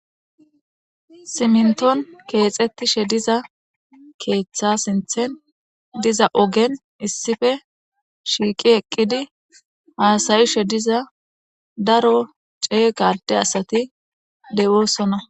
Siminton keexettishe diza keeththa sinthen diza ogen issife shiiqi eqqidi haasayishe diza daro cee gade asati dewoosona.